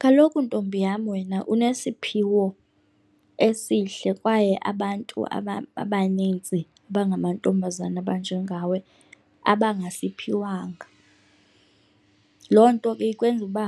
Kaloku, ntombi yam, wena unesiphiwo esihle kwaye abantu abanintsi abangamantombazana abanjengawe abangasiphiwanga. Loo nto ke ikwenza uba